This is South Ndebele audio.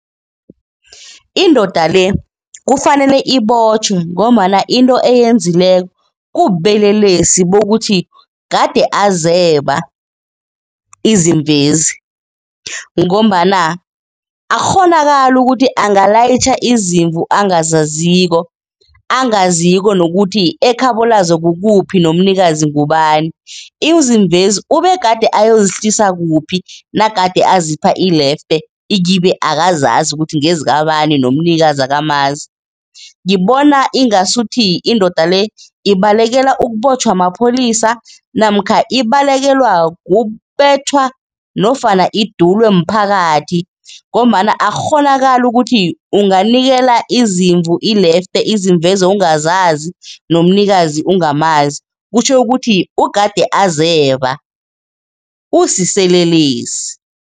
Indoda le kufanele ibotjhwe ngombana into eyenzekileko kubulelesi bokuthi gade azeba izimvezi ngombana akukghonakali ukuthi angalayitjha izimvu angazaziko, angaziko nokuthi ekhabo lazo kukuphi nomnikazi ngubani. Izimvezi ubegade ayozihlisa kuphi nagade azipha ilefte ikibe akazazi ukuthi ngezikabani nomnikazi akamazi. Ngibona ingasuthi indoda le ibalekela ukubotjhwa mapholisa namkha ibalekelwa kubethwa nofana idulwe mphakathi ngombana akukghonakali ukuthi ukunganikela izimvu ilefte izimvezo ungazazi nomnikazi ungamazi, kutjho ukuthi ugade azeba, usiselelesi.